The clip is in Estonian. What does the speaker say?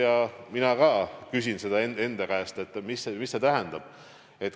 Ja mina küsin ka seda enda käest, et mis see tähendab.